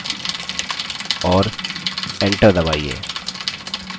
और enter दबाइए